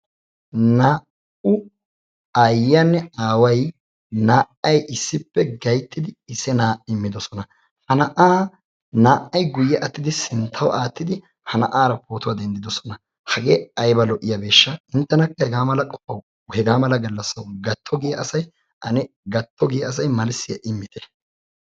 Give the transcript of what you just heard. naa''u aayiyaanne aaway naa''ay issippe idimmidi na'aara pootuwa denddoosona. hage aybba lo''iyaabeshsha. inttenakka haga mala gallassaw gatto giya asay ane gattogiya asay malissiya immite.